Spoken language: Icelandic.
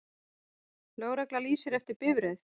Lögregla lýsir eftir bifreið